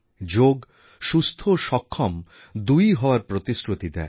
যোগ সুস্থ ও সক্ষম দুইই হওয়ার প্রতিশ্রুতি দেয়